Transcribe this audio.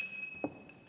Aitäh!